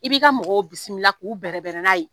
I b'i ka mɔgɔ bisimila k'u bɛrɛbɛrɛ n'a ye